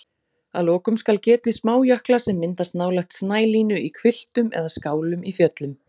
Að lokum skal getið smájökla sem myndast nálægt snælínu í hvilftum eða skálum í fjöllum.